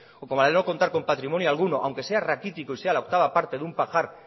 o como la de no contar con patrimonio alguno aunque sea raquítico y sea la octava parte de algún pajar